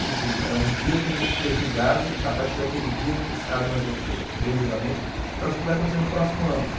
Tipo, é um dia que a gente é julgado, a partir daquele dia a gente sabe mais ou menos tem o julgamento para o que vai acontecer no próximo ano.